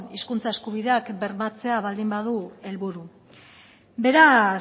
hizkuntza eskubideak bermatzea baldin badu helburu beraz